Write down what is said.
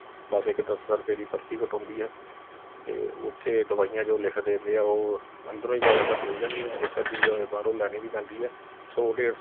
ਬਸ ਇਕ ਦਸਾਂ ਰੂਪੇ ਦੀ ਪਰਚੀ ਕਟਾਉਦੀ ਐ ਤੇ ਉਥੇ ਦਵਾਈਆ ਜੋ ਲਿਖ ਦਿੰਦੇ ਆ ਉਹ ਅੰਦਰੋਂ ਹੀ ਜਿਆਦਾਤਾਰ ਮਿਲ ਜਾਂਦੀਆਂ ਇਕ ਅੱਧੀ ਜੋ ਬਾਹਰੋਂ ਲੈਣੀਂ ਵੀ ਪੈਂਦੀ ਐ ਸੌ ਡੇਢ ਸੌ